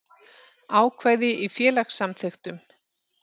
Ákvæði í félagssamþykktum.